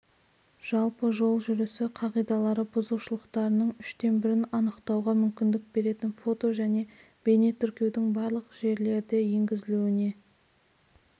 жалпы жол жүрісі қағидалары бұзушылықтарының үштен бірін анықтауға мүмкіндік беретін фото және бейне тіркеудің барлық жерлерде енгізілуіне